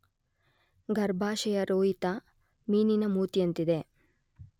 ಗರ್ಭಾಶಯ ರೋಹಿತ ಮೀನಿನ ಮೂತಿಯಂತಿದೆ.